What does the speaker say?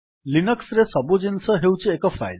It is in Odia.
ଲିନକ୍ସ୍ ରେ ସବୁ ଜିନିଷ ହେଉଛି ଏକ ଫାଇଲ୍